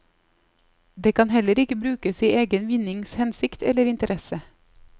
Den kan heller ikke brukes i egen vinnings hensikt eller interesse.